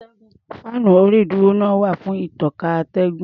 Fáànú orí-ìdúró náà wà fún ìtànká atẹ́gùn.